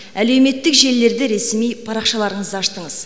әлеуметтік желілерде ресми парақшаларыңызды аштыңыз